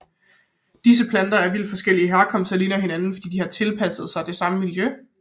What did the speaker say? Disse planter af vidt forskellig herkomst ligner hinanden fordi de har tilpasset sig det samme miljø